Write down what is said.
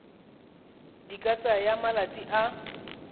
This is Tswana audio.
di ka tsaya malatsi a